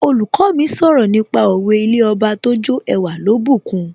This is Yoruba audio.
Olùkọ́ mi sọ̀rọ̀ nípa òwe 'ilé Ọba tójó ẹwà ló bùkun'